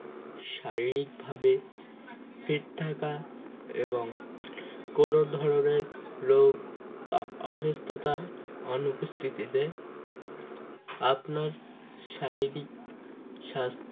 শারীরিকভাবে fit থাকা এবং কোন ধরনের রোগ বা অসুস্থতার অনুপস্থিতিতে আপনার শারীরিক সাস